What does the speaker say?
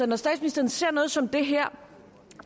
når statsministeren ser noget som det her